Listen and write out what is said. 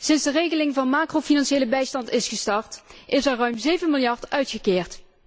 Sinds de regeling van macrofinanciële bijstand is gestart is er ruim zeven miljard uitgekeerd.